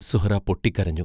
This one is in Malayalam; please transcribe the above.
സുഹ്റാ പൊട്ടിക്കരഞ്ഞു.